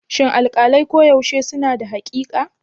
Shin alƙalai koyaushe suna da haƙiƙa?